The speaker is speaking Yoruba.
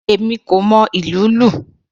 Èmi kò mọ ìlú lù.